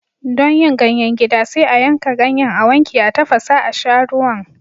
Don yin ganyen gida, sai a yanka ganyen, a wanke, a tafasa a sha ruwan.